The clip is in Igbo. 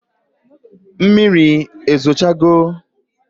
Mmiri ezo cha go?